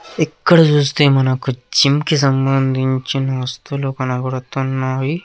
ఇక్కడ చూస్తే మనకు జిమ్ కి సంబంధించిన వస్తువులు కనపడుతున్నాయి.